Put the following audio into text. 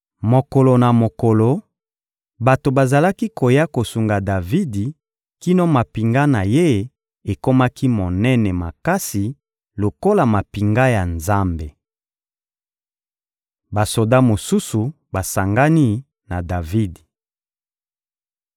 Mokolo na mokolo, bato bazalaki koya kosunga Davidi kino mampinga na ye ekomaki monene makasi lokola mampinga ya Nzambe. Basoda mosusu basangani na Davidi